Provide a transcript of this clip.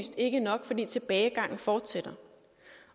ikke nok fordi tilbagegangen fortsætter